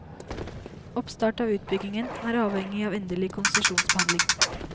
Oppstart av utbyggingen er avhengig av endelig konsesjonsbehandling.